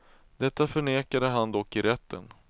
Detta förnekade han dock i rätten.